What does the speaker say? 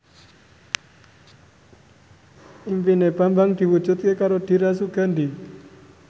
impine Bambang diwujudke karo Dira Sugandi